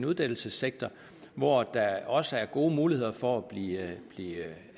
uddannelsessektor hvor der også er gode muligheder for at blive